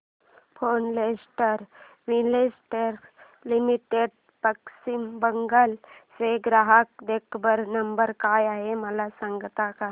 Florence Investec Limited Paschim Bangal चा ग्राहक देखभाल नंबर काय आहे मला सांगता का